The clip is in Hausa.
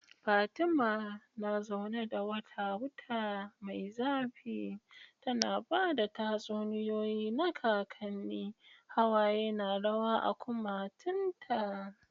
Fatima na zaune da wata wuta mai zafi tana ba da tatsuniyoyi na kakanni, hawaye na rawa a kumatunta.